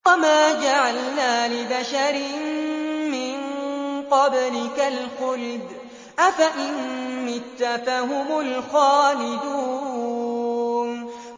وَمَا جَعَلْنَا لِبَشَرٍ مِّن قَبْلِكَ الْخُلْدَ ۖ أَفَإِن مِّتَّ فَهُمُ الْخَالِدُونَ